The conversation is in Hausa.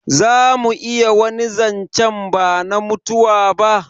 Zamu iya wani zancen bana mutuwa ba?